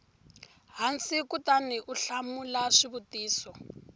hansi kutani u hlamula xivutiso